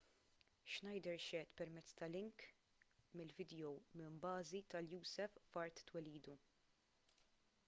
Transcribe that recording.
schneider xehed permezz ta' link bil-vidjow minn bażi tal-usaf f'art twelidu